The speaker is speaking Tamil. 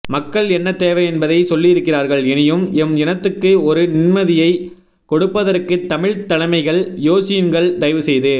மக்கள் என்ன தேவை என்பதை சொல்லியிருக்கிறார்கள் எனியும் எம் இனத்துக்கு ஒரு நின்மதியை கொடுப்பதற்கு தமிழ் தலைமைகள் யோசியுன்கள் தயவுசெய்து